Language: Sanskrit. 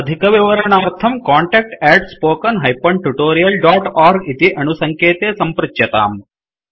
अधिकविवरणार्थं कान्टैक्ट् spoken tutorialorg इति अणुसङ्केते सम्पृच्यताम्